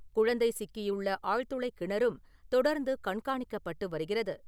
குழந்தை சிக்கியுள்ள ஆழ்துளை கிணறும் தொடர்ந்து கண்காணிக்கப்பட்டு வருகிறது.